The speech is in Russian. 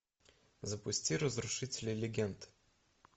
запусти разрушители легенд